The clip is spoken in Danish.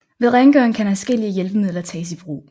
Ved rengøring kan adskillige hjælpemidler tages i brug